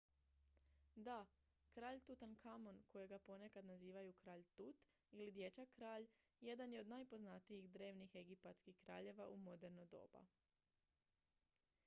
"da! kralj tutankamon kojega ponekad nazivaju "kralj tut" ili "dječak-kralj" jedan je od najpoznatijih drevnih egipatskih kraljeva u moderno doba.